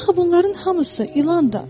Axı bunların hamısı ilandır.